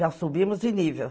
Já subimos de nível.